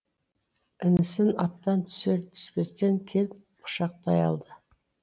інісін аттан түсер түспестен келіп құшақтай алды